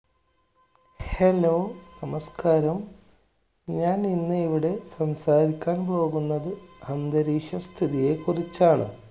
Hello, നമസ്കാരം. ഞാൻ ഇന്ന് ഇവിടെ സംസാരിക്കാൻ പോകുന്നത് അന്തരീക്ഷ സ്ഥിതിയെ കുറിച്ചാണ്.